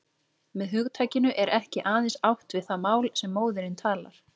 Með hugtakinu er ekki aðeins átt við það mál sem móðirin talar.